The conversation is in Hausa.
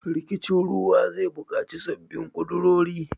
Rikicin ruwa zai bukaci sabbin kudurori.